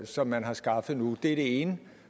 som man har skaffet nu det det ene